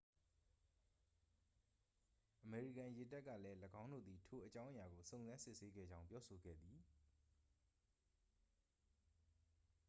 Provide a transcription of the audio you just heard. အမေရိကန်ရေတပ်ကလည်း၎င်းတို့သည် ထိုအောကြာင်းအရာကို စုံစမ်းစစ်ဆေးခဲ့ကြောင်း ပြောဆိုခဲ့သည်